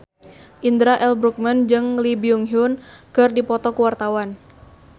Indra L. Bruggman jeung Lee Byung Hun keur dipoto ku wartawan